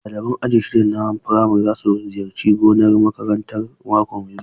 Ɗalibai aji shida na firamare za su ziyarci gonar makarantar mako mai zuwa.